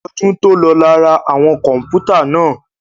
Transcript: Ọdún tòlọ la ra àwọn kọ̀npútà náà.